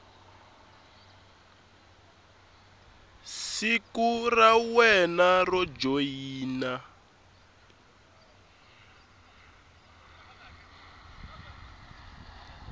siku ra wena ro joyina